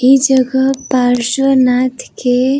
इ जगह पार्श्व नाथ के --